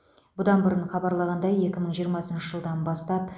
бұдан бұрын хабарланғандай екі мың жиырмасыншы жылдан бастап